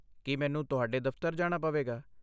ਕੀ ਮੈਨੂੰ ਤੁਹਾਡੇ ਦਫ਼ਤਰ ਜਾਣਾ ਪਵੇਗਾ?